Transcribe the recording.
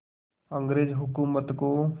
अंग्रेज़ हुकूमत को